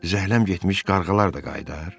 Zəhləm getmiş qarğalar da qayıdar?